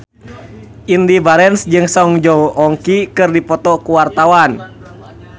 Indy Barens jeung Song Joong Ki keur dipoto ku wartawan